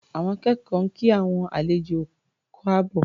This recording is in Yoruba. Àwọn akẹ́kọ̀ọ́ ń kí àwọn àlejò káàbọ̀.